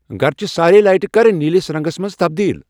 گرچِہ سارے لایٹہٕ کر نیٖلِس رنگس منز تبدیل ۔